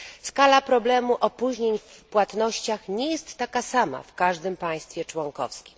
Skala problemu opóźnień w płatnościach nie jest taka sama w każdym państwie członkowskim.